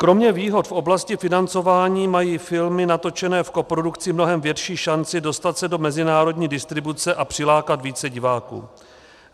Kromě výhod v oblasti financování mají filmy natočené v koprodukci mnohem větší šanci dostat se do mezinárodní distribuce a přilákat více diváků.